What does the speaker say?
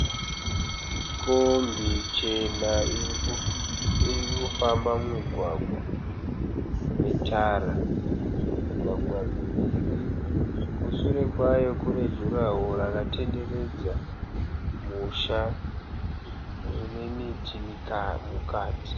Kombi chena irikufamba mumugwagwa wetara. Mugwagwa miviri, kushure kwayo kune jurahoro rakatenderedza musha. Mune miti mukati.